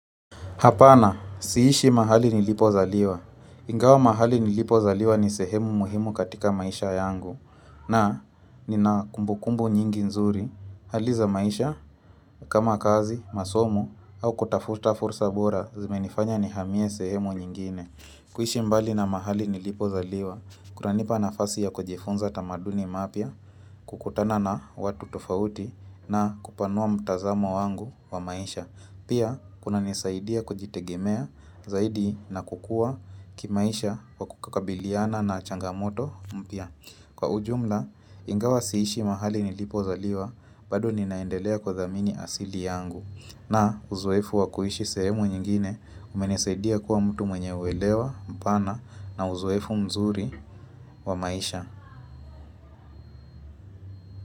Hapana, siishi mahali nilipozaliwa. Ingawa mahali nilipozaliwa ni sehemu muhimu katika maisha yangu na nina kumbukumbu nyingi nzuri. Hali za maisha kama kazi, masomo au kutafuta fursa bora zimenifanya nihamie sehemu nyingine. Kuhishi mbali na mahali nilipozaliwa, kunanipa nafasi ya kujifunza tamaduni mpya, kukutana na watu tofauti na kupanua mtazamo wangu wa maisha. Pia, kunanisaidia kujitegemea zaidi na kukua kimaisha kukabiliana na changamoto mpya. Kwa ujumla, ingawa siishi mahali nilipozaliwa, bado ninaendelea kuithamini asili yangu. Na uzoefu wa kuishi sehemu nyingine, umenisaidia kuwa mtu mwenye uelewa, mpana na uzoefu mzuri wa maisha.